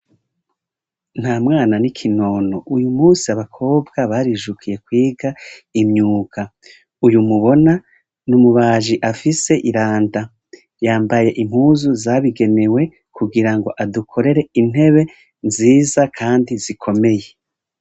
Nta mwana n’ikinono, uyu munsi abakobwa barijukiye kwiga imyuga. Uyu mubona ni umubaji afise iranda, yambaye impuzu zabigenewe kugira ngo adukorere intebe nziza kandi zikomeye.